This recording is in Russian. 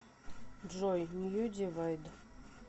джой нью дивайд